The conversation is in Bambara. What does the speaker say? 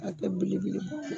A kɛ bele beleba